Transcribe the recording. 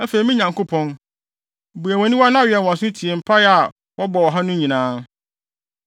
“Afei me Nyankopɔn, bue wʼaniwa na wɛn wʼaso tie mpae a wɔbɔ wɔ ha no nyinaa.